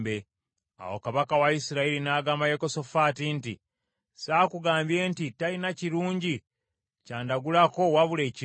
Awo kabaka wa Isirayiri n’agamba Yekosafaati nti, “Saakugambye nti, talina kirungi ky’andagulako wabula ekibi?”